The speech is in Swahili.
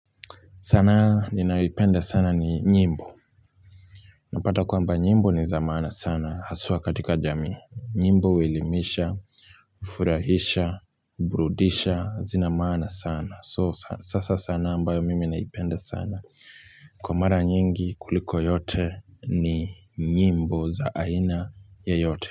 Sanaa ninaipenda sana ni nyimbo napata kwamba nyimbo ni za maana sana haswa katika jami nyimbo huelimisha ufurahisha hubrudisha zina maana sana so sasa sanaa ambayo mimi naipenda sana kwa mara nyingi kuliko yote ni nyimbo za aina yoyote.